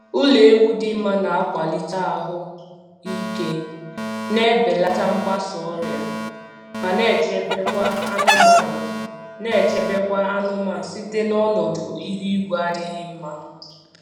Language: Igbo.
Ụlọ ewu dị mma na-akwalite ahụ ike, na-ebelata mgbasa ọrịa, ma na-echebekwa anụmanụ na-echebekwa anụmanụ site n'ọnọdụ ihu igwe adịghị mma.